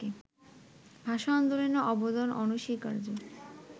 ভাষা-আন্দোলনের অবদান অনস্বীকার্য